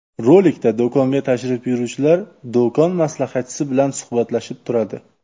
Rolikda do‘konga tashrif buyuruvchilar do‘kon maslahatchisi bilan suhbatlashib turadi.